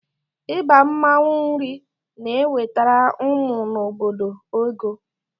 Ịgba mmanụ nri na-ewetara ụmụ nọ n'obodo ego.